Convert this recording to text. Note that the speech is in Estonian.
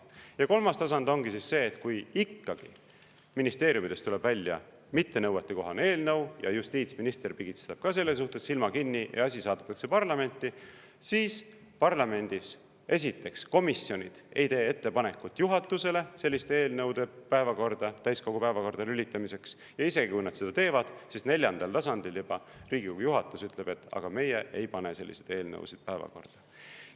Ja kolmas tasand ongi see, et kui ikkagi ministeeriumidest tuleb välja mittenõuetekohane eelnõu ja justiitsminister pigistab ka selles suhtes silma kinni ja asi saadetakse parlamenti, siis parlamendis, esiteks, komisjonid ei tee ettepanekut juhatusele selliste eelnõude täiskogu päevakorda lülitamiseks, ja isegi kui nad seda teevad, siis neljandal tasandil juba Riigikogu juhatus ütleb: "Aga meie ei pane selliseid eelnõusid päevakorda.